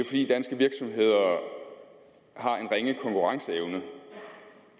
fordi danske virksomheder har en ringe konkurrenceevne